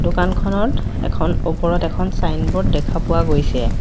দোকানখনত এখন ওপৰত এখন ছাইনব'ৰ্ড দেখা পোৱা গৈছে।